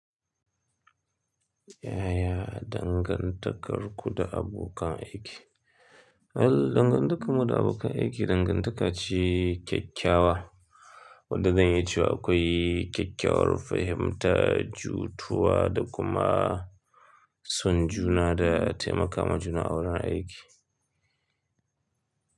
Yaya dangantakarku da abokan aiki? Al dangantakarmu da abokan aiki dangantaka ce kyakkyawa. Wadda zan yi ce akwai kyakkyawar fahimta, jituwa da kuma son juna da taimaka ma juna a wurin aiki.